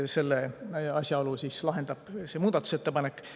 Selle asjaolu lahendab see muudatusettepanek.